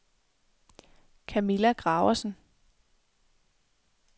Camilla Graversen